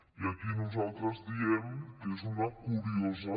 i aquí nosaltres diem que és una curiosa